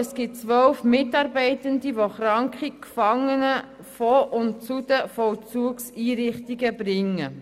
Es gibt 12 Mitarbeitende, die kranke Gefangene von und zu den Vollzugseinrichtungen bringen.